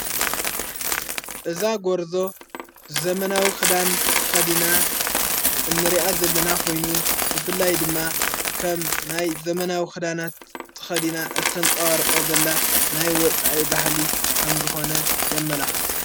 እዛ ጐርዞ ዘመናዊ ኽዳን ተኸዲና እንርኣ ዘለና ኾይኑ እፍላይ ድማ ኸም ናይ ዘመናዊ ኽዳናት ተኸዲና እተንጸዋ ርኦ ዘላ ናይ ወፃአ ባህሊ ከም ዝኾነ የመላኽት::